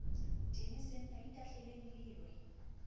tene senna itahleleng le lwe